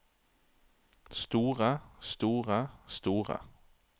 store store store